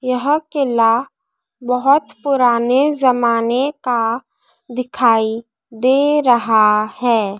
यह किला बहुत पुराने ज़माने का दिखाई दे रहा है।